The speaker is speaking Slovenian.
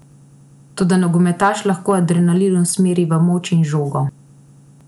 Toda nogometaš lahko adrenalin usmeri v moč in žogo.